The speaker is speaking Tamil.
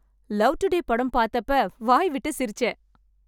லவ் டுடே படம் பார்த்தப்ப வாய்விட்டு சிரிச்சேன்.